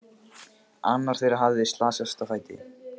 Annar þeirra hafði slasast á fæti.